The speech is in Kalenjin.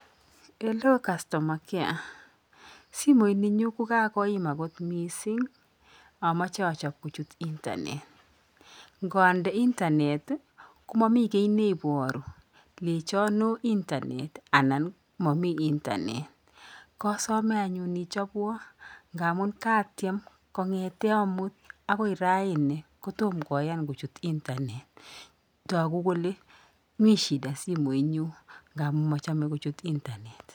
Hello Customer care simoit ninyu kokakoima kot miising ameche kochop kochut internet ngaande internet ko mamii ki nebioruu lechonu internet anan mamii internet kasame anyun ichopwa ngaamun kaatyem kongete amut akoy raini kotom koyan kochut internet taku ole mii shida simoit nyu ngaamun machame kochut internet